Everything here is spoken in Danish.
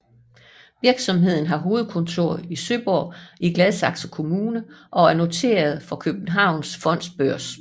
Virksomheden har hovedkontor i Søborg i Gladsaxe Kommune og er noteret på Københavns Fondsbørs